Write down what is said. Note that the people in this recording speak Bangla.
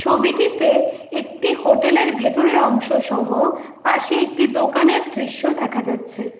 ছবিটিতে একটি হোটেলের ভেতরের অংশসহ পাশে একটি দোকানের দৃশ্য দেখা যাচ্ছে।